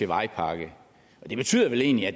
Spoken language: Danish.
vejpakke og det betyder vel egentlig at